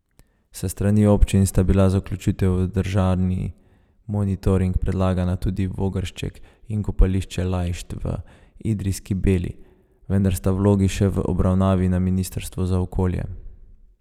S strani občin sta bila za vključitev v državni monitoring predlagana tudi Vogršček in kopališče Lajšt v Idrijski beli, vendar sta vlogi še v obravnavi na Ministrstvu za okolje.